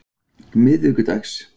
miðvikudags